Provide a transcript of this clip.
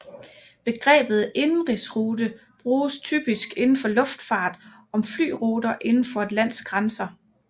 Begrebet indenrigsrute bruges typisk inden for luftfart om flyruter inden for et lands grænser